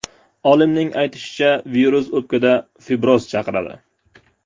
Olimning aytishicha, virus o‘pkada fibroz chaqiradi.